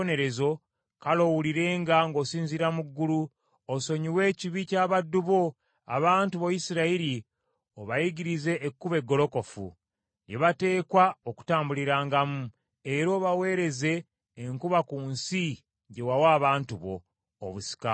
kale owulirenga ng’osinziira mu ggulu, osonyiwe ekibi ky’abaddu bo, abantu bo Isirayiri, obayigirize ekkubo eggolokofu, lye bateekwa okutambulirangamu, era obaweereze enkuba ku nsi gye wawa abantu bo, obusika bwo.